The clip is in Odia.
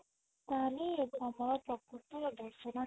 ତାହାଲେ ହଁ ପ୍ରକୃତ ରେ ଦର୍ଶନ